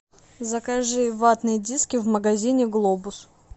закажи ватные диски в магазине глобус